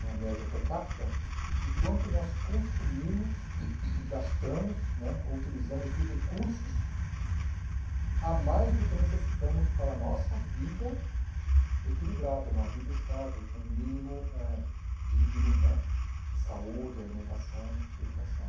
uma média per capita, de quanto nós consumimos, gastamos né ou utilizamos de recursos a mais do que necessitamos para a nossa vida equilibrada, uma vida estável, com um mínimo eh digno né de saúde, alimentação, educação.